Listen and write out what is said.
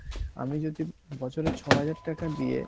আমি যদি বছরে ছ হাজার টাকা দিয়ে